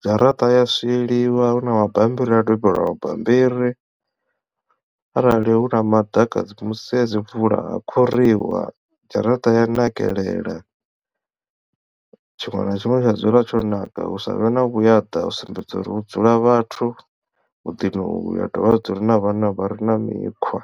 dzharaṱa ya swieliwa hu na mabambiri a dobela mabambiri arali hu na maḓaka dzi musi ha dzimvula ha khuriwa dzharaṱa ya nakelela tshiṅwe na tshiṅwe tsha dzula tsho naka hu savhe na vhuya ḓa u sumbedza uri hu dzula vhathu muḓini u yu ha dovha ha dzula na vhana vha re na mikhwa.